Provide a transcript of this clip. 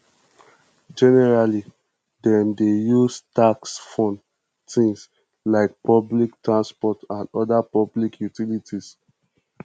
generally dem dey use tax fund things like public transport and oda public utilities